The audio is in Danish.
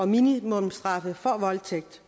minimumsstraffe for voldtægt